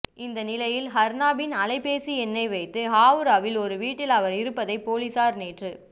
இந்நிலையில் அர்னாபின் அலைபேசி எண்ணை வைத்து ஹவுராவில் ஒரு வீட்டில் அவர் இருப்பதை போலீசார் நேற்று